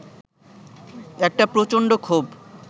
একটা প্রচন্ড ক্ষোভ